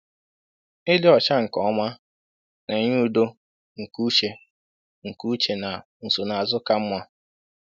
Ịdị ọcha nke ọma na-enye udo nke uche nke uche na nsonaazụ ka mma.